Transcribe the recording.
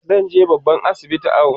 zanje babban asibiti awo